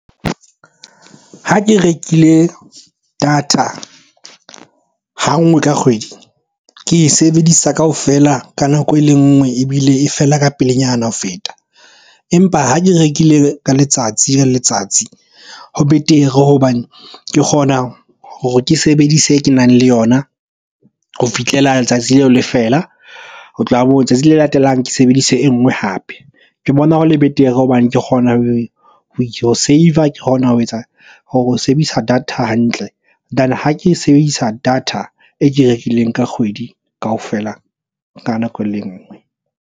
Ha ke rekile data ha nngwe ka kgwedi ke e sebedisa kaofela ka nako e le nngwe, ebile e fela ka pelenyana ho feta. Empa ha ke rekile ka letsatsi le letsatsi ho betere hobane ke kgona hore ke sebedise e ke nang le yona ho fihlela letsatsi leo le fela. Ho tloha letsatsi le latelang ke sebedisa e nngwe hape. Ke bona ho le betere hobane ke kgona ho save-a, ke kgona ho etsa sebedisa data hantle than ha ke e sebedisa data e ke e rekileng ka kgwedi kaofela ka nako e le nngwe.